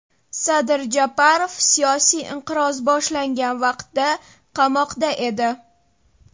Sadir Japarov siyosiy inqiroz boshlangan vaqtda qamoqda edi.